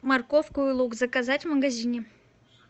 морковку и лук заказать в магазине